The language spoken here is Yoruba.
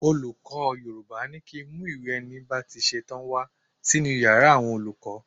Olùkọ́ Yorùbá ní kí ń mú ìwé ẹni bá ti ṣetán wá sínú Ìyàrá àwọn olùkọ́.